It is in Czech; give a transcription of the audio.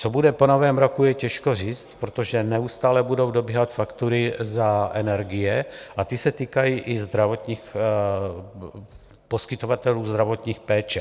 Co bude po Novém roce je těžko říct, protože neustále budou dobíhat faktury za energie, a ty se týkají i poskytovatelů zdravotní péče.